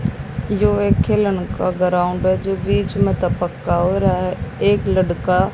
यो एक खेलन का ग्राउंड है जो बीच में से पक्का हो रहा है। एक लड़का--